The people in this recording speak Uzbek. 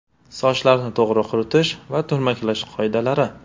Sochlarni to‘g‘ri quritish va turmaklash qoidalari.